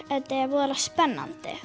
er voða spennandi